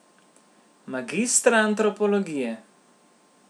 Magistra antropologije.